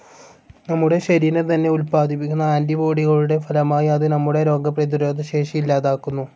നമ്മുടെ ശരീരം തന്നെ ഉത്പാദിപ്പിക്കുന്ന ആൻ്റി ബോഡികളുടെ ഫലമായി അത് നമ്മുടെ രോഗപ്രതിരോധശേഷി ഇല്ലാതാക്കുന്നു.